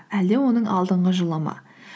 әлде оның алдынғы жылы ма